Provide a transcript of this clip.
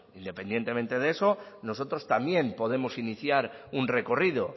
independientemente de eso nosotros también podemos iniciar un recorrido